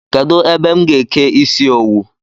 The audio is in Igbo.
Kedụ ebe m ga-eke ịsị owu?